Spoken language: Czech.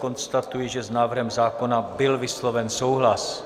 Konstatuji, že s návrhem zákona byl vysloven souhlas.